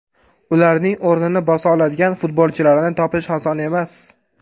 Ularning o‘rnini bosa oladigan futbolchilarni topish oson emas.